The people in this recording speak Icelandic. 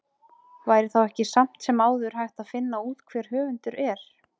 væri þá ekki samt sem áður hægt að finna út hver höfundur er